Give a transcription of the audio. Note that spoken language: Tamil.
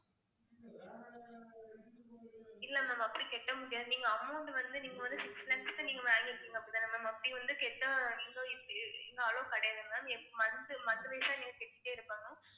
இல்லை ma'am அப்படி கட்ட முடியாது நீங்க amount வந்து நீங்க வந்து six lakhs க்கு நீங்க வாங்கியிருக்கீங்க அப்பதான் ma'am அப்படி வந்து allow கிடையாது ma'am monthly month wise ஆ நீங்க கட்டிட்டே இருக்கணும்